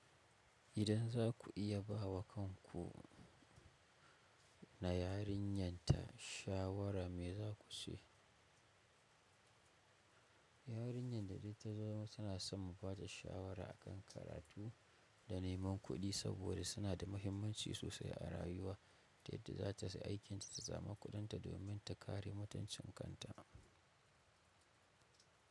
Idan za ku iya ba wa kanku na yarinyarta shawara me za ku ce? Yarinyar da dai ta zama tana son mu ba ta shawara a kan karatu da neman kuɗi saboda suna da mahimmanci sosai a rayuwa, ta yadda za ta ci aikinta ta samu kuɗinta domin ta kare mutuncin kanta.